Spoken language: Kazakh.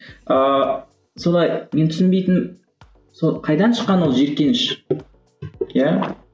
ыыы солай мен түсінбейтінім сол қайдан шыққан ол жиіркеніш иә